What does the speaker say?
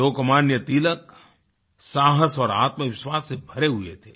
लोकमान्य तिलक साहस और आत्मविश्वास से भरे हुए थे